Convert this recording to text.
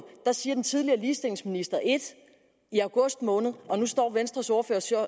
siger den tidligere ligestillingsminister ét i august måned og nu står venstres ordfører